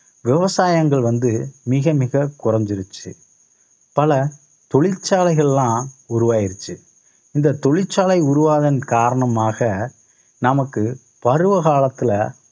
விவசாயங்கள் வந்து மிக மிக குறைஞ்சிருச்சு பல தொழிற்சாலைகலாம் உருவாயிருச்சு இந்த தொழிற்சாலை உருவாவதன் காரணமாக நமக்கு பருவ காலத்துல